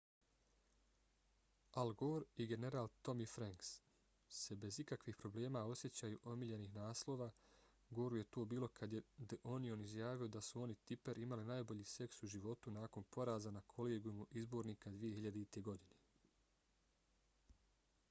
al gore i general tommy franks se bez ikakvih problema sjećaju omiljenih naslova goru je to bilo kad je the onion izjavio da su on i tipper imali najbolji seks u životu nakon poraza na kolegijumu izbornika 2000. godine